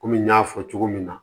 Kɔmi n y'a fɔ cogo min na